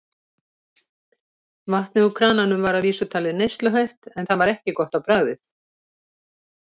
Vatnið úr krananum var að vísu talið neysluhæft en það var ekki gott á bragðið.